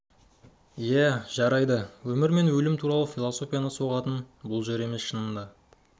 жә жарайды өмір мен өлім туралы философия соғатын жер шынында да бұл емес